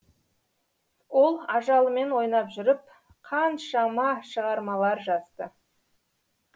ол ажалымен ойнап жүріп қаншамашығармалар жазды